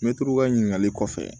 Mɛtiri ka ɲininkali kɔfɛ